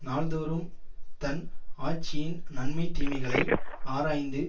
நாள் தோறும் தன் ஆட்சியின் நன்மை தீமைகளை ஆராய்ந்து